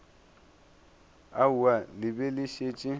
aowa le be le šetše